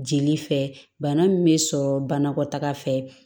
Jeli fɛ bana min bɛ sɔrɔ banakɔtaga fɛ